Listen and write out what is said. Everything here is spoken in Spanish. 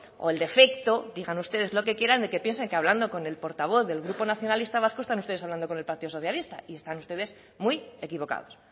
o el defecto digan ustedes lo que quieran de que piensan que hablando con el portavoz del grupo nacionalista vasco están ustedes hablando con el partido socialista y están ustedes muy equivocados